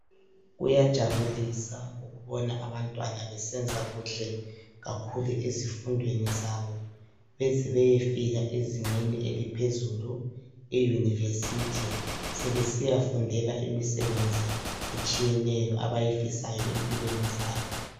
Kuyajabulisa ukubona abantwana besenza kuhle kakhulu ezifundweni zabo bezebeyefika ezingeni eliphezulu iyunivesithi. Sebesiyafundela imisebenzi etshiyeneyo abayifisayo empilweni zabo.